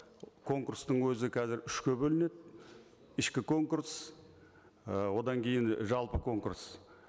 конкурстың өзі қазір үшке бөлінеді ішкі конкурс ы одан кейін жалпы конкурс